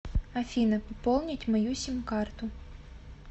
афина пополнить мою сим карту